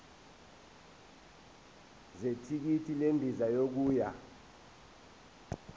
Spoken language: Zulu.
zethikithi lendiza yokuya